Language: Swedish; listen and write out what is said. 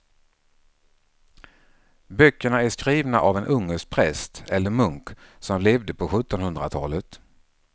Böckerna är skrivna av en ungersk präst eller munk som levde på sjuttonhundratalet.